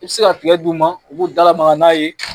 I bɛ se ka tiga di u ma u bɛ se ka u da lamaga n'a ye